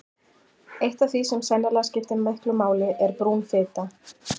Eitt af því sem sennilega skiptir miklu máli er brún fita.